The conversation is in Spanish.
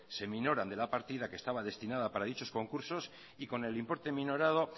se minoran de la partida que estaba destinada para dicho concursos y con el importe minorado